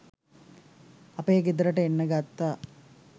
අපේ ගෙදරට එන්න ගත්තා